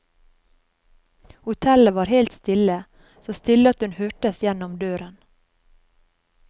Hotellet var helt stille, så stille at hun hørtes gjennom døren.